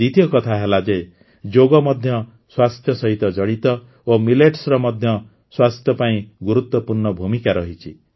ଦ୍ୱିତୀୟ କଥା ହେଲା ଯେ ଯୋଗ ମଧ୍ୟ ସ୍ୱାସ୍ଥ୍ୟ ସହିତ ଜଡ଼ିତ ଓ ମିଲେଟ୍ସର ମଧ୍ୟ ସ୍ୱାସ୍ଥ୍ୟ ପାଇଁ ଗୁରୁତ୍ୱପୂର୍ଣ୍ଣ ଭୂମିକା ରହିଛି